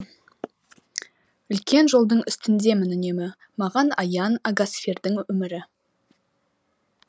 үлкен жолдың үстіндемін үнемі маған аян агасфердің өмірі